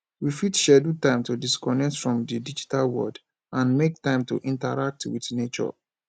we fit schedule time to disconnect from di digital world and make time to interact with nature